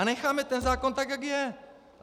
A necháme ten zákon tak, jak je.